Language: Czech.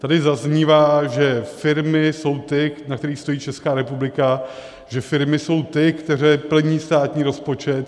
Tady zaznívá, že firmy jsou ty, na kterých stojí Česká republika, že firmy jsou ty, které plní státní rozpočet.